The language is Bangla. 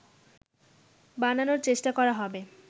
বানানোর চেষ্টা করা হবে